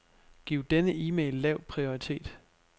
Giv denne e-mail lav prioritet.